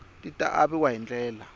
ti ta aviwa hi ndlela